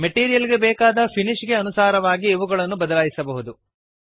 material ಗೆ ಬೇಕಾದ finish ಗೆ ಅನುಸಾರವಾಗಿ ಇವುಗಳನ್ನು ಬದಲಾಯಿಸಬಹುದು